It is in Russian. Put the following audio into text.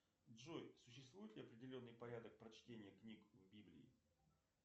джой существует ли определенный порядок прочтения книг в библии